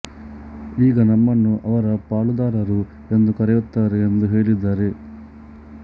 ಈಗ ನಮ್ಮನ್ನು ಅವರ ಪಾಲುದಾರರು ಎಂದು ಕರೆಯುತ್ತಾರೆ ಎಂದು ಹೇಳಿದ್ದಾರೆ